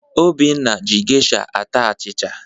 Obinna ji geisha ata achịcha.